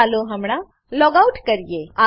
ચાલો હમણાં logout logout કરીએ